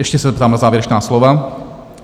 Ještě se zeptám na závěrečná slova.